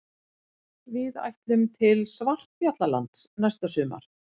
Við ætlum til Svartfjallalands næsta sumar.